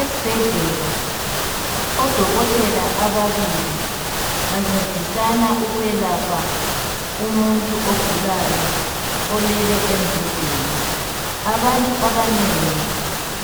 esibhedlela odokotela ababili bancedisana ukwelapha umuntu ogulayo olele embhedeni abantu abanengi